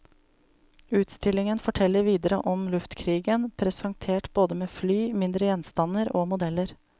Utstillingen forteller videre om luftkrigen, presentert både med fly, mindre gjenstander og modeller.